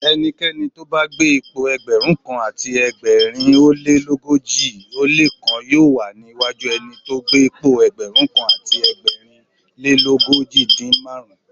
Ẹnikẹ́ni tóbá gbé'pò Ẹgbẹ̀rúnkan àti ẹgbẹ̀rin ólé l'ógójì ó lékan yóò wà níwájú ẹnitó gbé'pò ẹgbẹ̀rúnkan àti ẹgbẹ̀rin lélógójìdín márùn-ún.